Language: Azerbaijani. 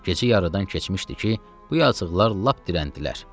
Gecə yarıdan keçmişdi ki, bu yazıqlar lap dirəndilər.